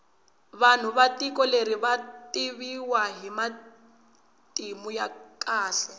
vanhu va tiko leri vativiwa hi matimu ya kahle